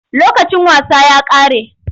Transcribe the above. Lokacin wasa ya ƙare.